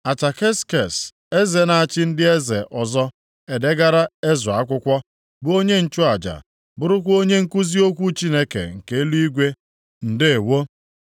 Ataksekses, eze na-achị ndị eze ọzọ, na-edegara Ezra akwụkwọ, bụ onye nchụaja, bụrụkwa onye nkuzi okwu Chineke nke eluigwe. Ndeewo!